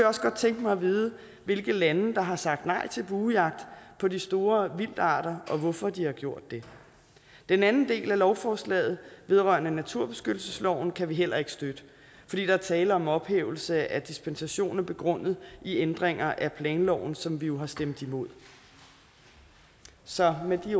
også godt tænke mig at vide hvilke lande der har sagt nej til buejagt på de store vildtarter og hvorfor de har gjort det den anden del af lovforslaget vedrørende naturbeskyttelsesloven kan vi heller ikke støtte fordi der er tale om ophævelse af dispensationer begrundet i ændringer af planloven som vi jo har stemt imod så med